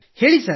ಹೇಳಿ ಸರ್